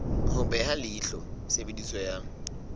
ho beha leihlo tshebediso ya